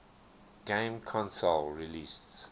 game console released